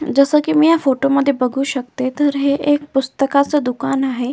जस की मी या फोटोमध्ये बघू शकते तर हे एक पुस्तकाच दुकान आहे.